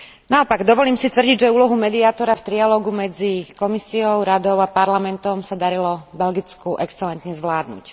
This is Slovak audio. Naopak, dovolím si tvrdiť, že úlohu mediátora v trialógu medzi Komisiou, Radou a Parlamentom sa darilo Belgicku excelentne zvládnuť.